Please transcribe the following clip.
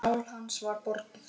Sál hans var borgið.